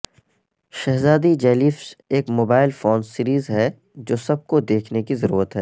شہزادی جیلیفش ایک mobile phones series ہے جو سب کو دیکھنے کی ضرورت ہے